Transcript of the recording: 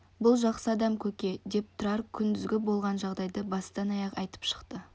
бұл жақсы адам көке деп тұрар күндізгі болған жағдайды бастан-аяқ айтып шықты